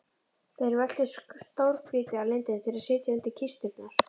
Þeir veltu stórgrýti að lindinni til að setja undir kisturnar.